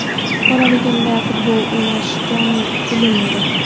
Bolaligimda futbol o‘ynash jon-u dilim edi.